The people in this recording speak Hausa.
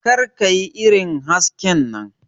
Kar ka yi irin hasken nan.